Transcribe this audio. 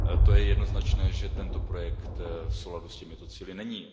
Je jednoznačné, že tento projekt v souladu s těmito cíli není.